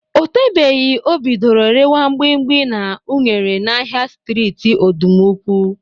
O tebeghi o bidoro rewa mgbimgbi na unere n'ahịa streeti Ọdụmụkwe.